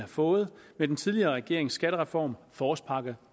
fået med den tidligere regerings skattereform forårspakke